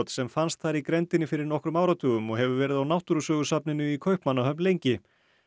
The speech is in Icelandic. sem fannst þar í grenndinni fyrir nokkrum áratugum og hefur verið á í Kaupmannahöfn lengi